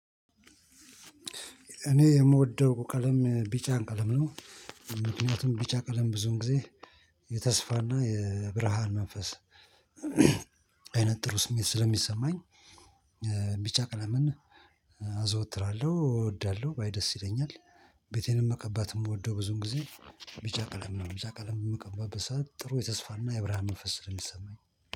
እኔ የምወደው ቀለም ቢጫ ቀለም ነው ምክንያቱም ቢጫ ቀለም ብዙውን ጊዜ የተስፋና የብርሃን መንፈስ አይነት ጥሩ ስሜት ስለሚሰማኝ። ቢጫ ቀለምን አዘወትራለሁ እወዳለሁ ባይ ደስ ይለኛል። ቤቴንም መቀባት የምወደው ብዙውን ጊዜ ቢጫ ቀለም ነው ቢጫ ቀለምን በምቀባበት ሰዓት ጥሩ የተስፋ እና የብርሃን መንፈስ ስለሚሰማኝ